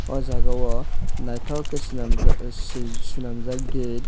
oh jagao naithok khe swnamjak gate.